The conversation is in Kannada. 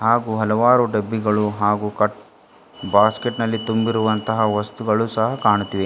ಹಾಗೂ ಹಲವಾರು ಡಬ್ಬಿಗಳು ಹಾಗೂ ಕಟ್ ಬಾಸ್ಕೆಟ್ ನಲ್ಲಿ ತುಂಬಿರುವಂತಹ ವಸ್ತುಗಳು ಸಹ ಕಾಣುತ್ತಿವೆ.